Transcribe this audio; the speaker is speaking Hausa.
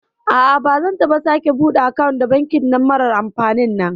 A'a bazan taɓa sake bude akant da banki marar amfanin nan